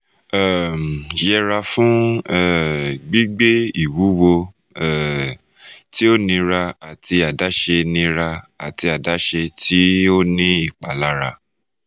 um yẹra fun um gbigbe iwuwo um ti o nira ati adaṣe nira ati adaṣe ti o ni ipalara